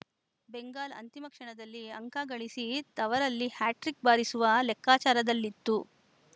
ಬೆಂಗಾಲ್‌ ಅಂತಿಮ ಕ್ಷಣದಲ್ಲಿ ಅಂಕ ಗಳಿಸಿ ತವರಲ್ಲಿ ಹ್ಯಾಟ್ರಿಕ್‌ ಬಾರಿಸುವ ಲೆಕ್ಕಾಚಾರದಲ್ಲಿತ್ತು